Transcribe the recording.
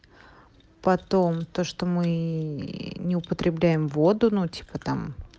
потом то что мы не употребляем воду ну типа там